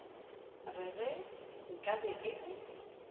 re ge nkabe e le